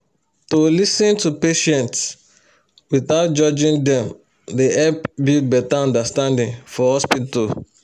to lis ten to patients without judging dem dey help build better understanding for hospital